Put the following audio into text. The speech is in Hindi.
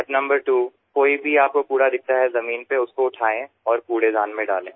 स्टेप नंबर त्वो कोई भी आपको कूड़ा दिखता है जमीन पे उसको उठाये और कूड़ेदान में डालें